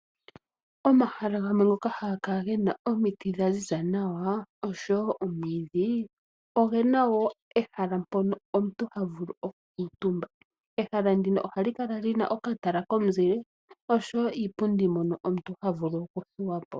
Omahala gamwe ngoka haga kala gena omiti dhaziza oshowo omwiidhi ogena wo ehala mpono omuntu ha vulu okukuntumba ehala ndino ohali kala lina okatala komuzile oshowo iipundi mono omuntu ha vulu okuthuwa po.